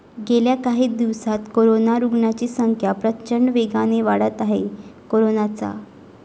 गेल्या काही दिवसांत कोरोना रुग्णांची संख्या प्रचंड वेगाने वाढत आहे. कोरोनाचा.